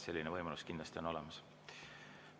Selline võimalus on olemas.